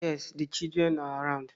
Yes, the children are around